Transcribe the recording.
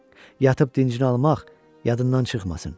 Yatıb dincini almaq yadından çıxmasın.